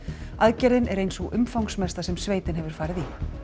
aðgerðin er ein sú umfangsmesta sem sveitin hefur farið í